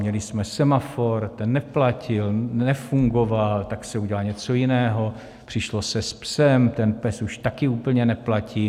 Měli jsme Semafor, ten neplatil, nefungoval, tak se udělá něco jiného, přišlo se se "psem", ten PES už taky úplně neplatí.